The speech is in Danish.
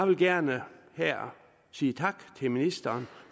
vil gerne her sige tak til ministeren